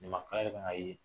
Ɲamakala yɛrɛ y'a ye